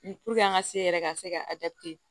an ka se yɛrɛ ka se ka